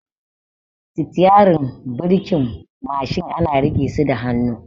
Sitiyarin da birkin Mashin ana riƙe su da hannu